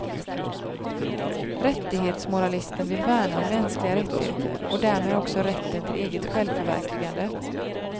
Rättighetsmoralisten vill värna om mänskliga rättigheter och därmed också rätten till eget självförverkligande.